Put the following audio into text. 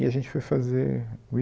E a gente foi fazer o